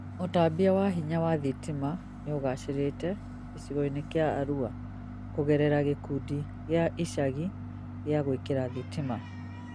ũtambia wa hinya wa thitima nĩũgacĩrĩte gĩcigoinĩ kĩa Aruakũgerera gĩkundi gĩa icagi gĩa gũĩkĩra thitima